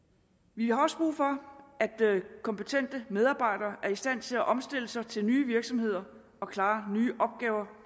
vi har også brug for at kompetente medarbejdere er i stand til at omstille sig til nye virksomheder og klare nye opgaver